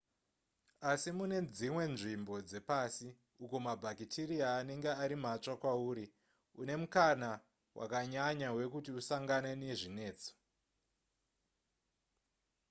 asi mune dzimwe nzvimbo dzepasi uko mabhakitiriya anenge ari matsva kwauri une mukana wakanyanya wekuti usangane nezvinetso